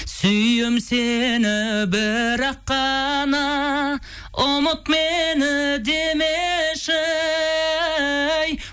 сүйем сені бірақ қана ұмыт мені демеші